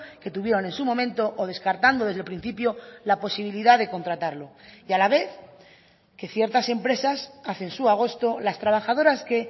que tuvieron en su momento o descartando desde el principio la posibilidad de contratarlo y a la vez que ciertas empresas hacen su agosto las trabajadoras que